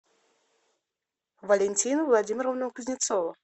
валентину владимировну кузнецову